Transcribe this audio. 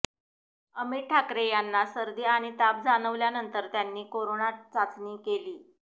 अमित ठाकरे यांना सर्दी आणि ताप जाणवल्यानंतर त्यांनी करोना चाचणी केली